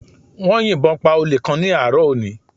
Wọ́n yìnbọn pa Olè kan ní àárọ̀ òní